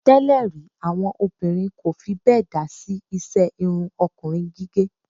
Tẹ́lè rí, àwọn obìnrin kò fi bẹ́ẹ̀ dá sí iṣẹ́ irun ọkùnrin gígẹ̀.